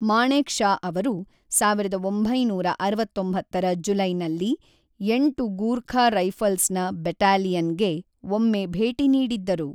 ಮಾಣೆಕ್ ಷಾ ಅವರು ಸಾವಿರದ ಒಂಭೈನೂರ ಅರವತ್ತೊಂಬತ್ತರ ಜುಲೈನಲ್ಲಿ ಎಂಟು ಗೂರ್ಖಾ ರೈಫಲ್ಸ್‌ನ ಬೆಟಾಲಿಯನ್‌ಗೆ ಒಮ್ಮೆ ಭೇಟಿ ನೀಡಿದ್ದರು.